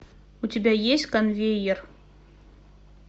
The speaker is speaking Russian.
у тебя есть конвеер